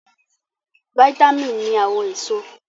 Vítámì ní àwọn èso